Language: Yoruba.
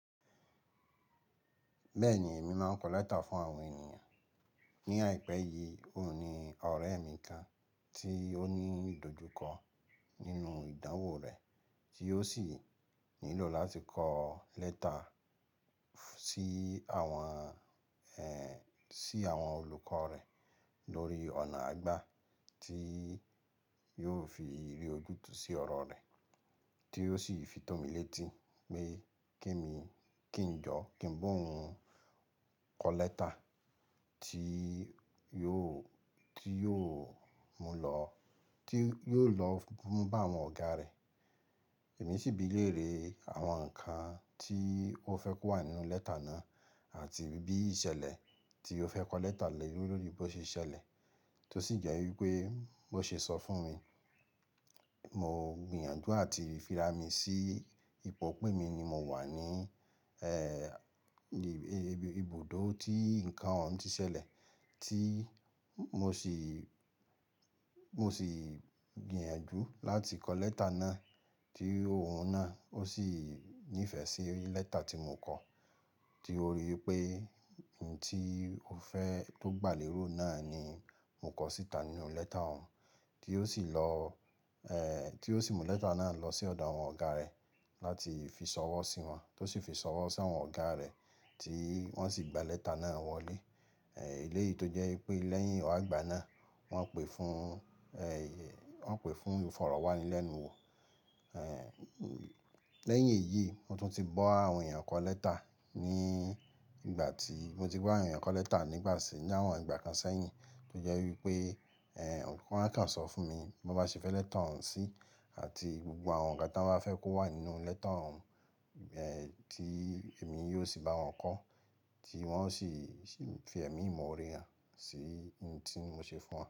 Bẹ́ẹ̀ni, èmi máa ń kọ lẹ́tà fún àwọn ènìyàn. Ni àìpé yìí, òun ni ọ̀rẹ́ mi kan tí ó ní ìdojúkọ nínú ìdánwò rẹ̀ tí ó sì nílò láti kọ lẹ́tà sí àwọn, ẹ́, sí àwọn olùkọ́ rẹ̀ lórí ọ̀nà àgbà tí yóò fi rì ojútùú sí ọ̀rọ̀ rẹ̀ tí ó sì fi tọ́ mi létí pé ke mi, kí n jọ́, kí n bo òun kọ lẹ́tà tí yóò, tí yóò mú lọ, tí yóò lọ mú bá àwọn ọ̀gá rẹ̀. Èmi sì bi í léèrè àwọn ǹkan tí ó fẹ́ kó wà nínú lẹ́tà náà àti bí i ṣẹlẹ̀ tí ó fẹ́ kọ lẹ́tà lè lórí bó ṣe ṣẹlẹ̀, tó sì jẹ́ wípé bó ṣe sọ fún mi, mo gbìyànjú àti fíra mi sí ipò pé emi ni mo wà ní, ẹ́, ibùdó tí ǹkan òun ti ṣẹlẹ̀ tí mo sì, mo sì gbìyànjú láti kọ lẹ́tà náà tí òun náà ó sì nífẹ̀ẹ́ sí lẹ́tà tí mo kọ, tí ó rí i pé oun tí ó fẹ́ tó gbà lérò náà ni mo kọ síta nínú lẹ́tà òun tí ó sì lọ, ẹ́, tí ó sì mú lẹ́tà náà lọ sí ọ̀dọ̀ àwọn ọ̀gá rẹ̀ láti fi ṣọwọ́ sí wọn, tó sì fi ṣọwọ́ sí àwọn ọ̀gá rẹ̀ tí wọ́n sì gba lẹ́tà náà wọlé. Ẹ̀, èléyìí tó jẹ́ wípé lẹ́yìn ọ̀àgbà náà wọ́n pè fún, ẹ́, wọ́n pè fún ìfọ̀rọ̀wánilẹ́nuwò. Ẹ̀, lẹ́yìn èyí mo tún ti ba àwọn èèyàn kọ lẹ́tà ní ìgbà tí, mo ti bá àwọn èèyàn kọ lẹ́tà nígbà ṣé ní àwọn ìgbà kan sẹ́yìn tó jẹ́ wípé, ẹ́, wọ́n a kàn sọ fún mi bí wọ́n bá ṣe fẹ́ lẹ́tà òun sí àti gbogbo àwọn ǹkan ti wọ́n bá fẹ́ kó wà nínú lẹ́tà òun, ẹ́, tí èmi yóò sì bá wọn kọ, tí wọ́n sì fi ẹ̀mí ìmoore hàn sí oun tí mo ṣe fún wọn.